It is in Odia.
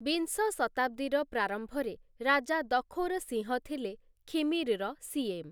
ବିଂଶ ଶତାବ୍ଦୀର ପ୍ରାରମ୍ଭରେ ରାଜା ଦଖୋର୍‌ ସିଂହ ଥିଲେ ଖିମିର୍‌ର ସୀଏମ୍‌ ।